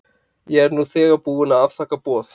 Ég er nú þegar búin að afþakka tilboð.